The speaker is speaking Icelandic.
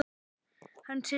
Hann situr hjá